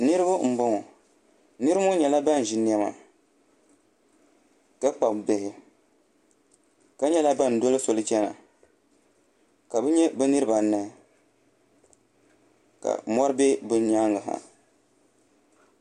Niraba n boŋo niraba ŋo nyɛla ban ʒi niɛma ka kpabi bihi ka nyɛla ban doli soli chɛna ka bi nyɛ bi niraba anahi ka mori bɛ bi nyaangi ha